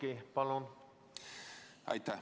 Aitäh!